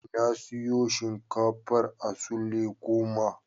Na siyo shinkafar a sule goma.